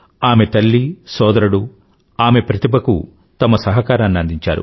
ఆమె తల్లి సోదరుడు ఆమె ప్రతిభకు తమ సహకారాన్ని అందించారు